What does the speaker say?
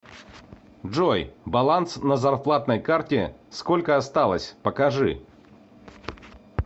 джой баланс на зарплатной карте сколько осталось покажи